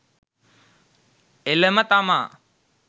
එළම තමා